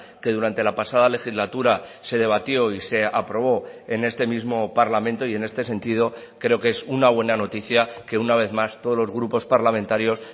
que durante la pasada legislatura se debatió y se aprobó en este mismo parlamento y en este sentido creo que es una buena noticia que una vez más todos los grupos parlamentarios